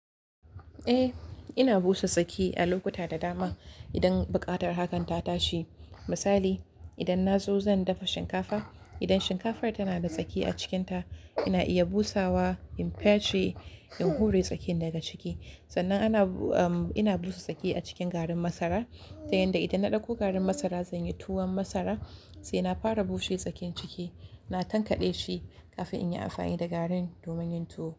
Eh, ina busa tsaki a lokuta da dama idan buƙatar hakan ta tashi. Misali, idan na zo zan dafa shinkafa, idan shinkafar tana da tsaki a cikinta, ina iya busawa, in petri, in hure tsakin daga ciki. Sannan ana, um, ina busa tsaki a cikin garin masara ta yanda idan na ɗauko garin masara zan yi tuwon masara, sai na fara bushe tsakin ciki, na tankaɗe shi kafin in yi amfani da garin domin yin tuwo.